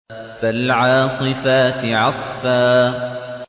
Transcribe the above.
فَالْعَاصِفَاتِ عَصْفًا